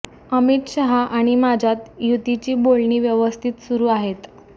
अमित शहा आणि माझ्यात युतीची बोलणी व्यवस्थित सुरू आहेत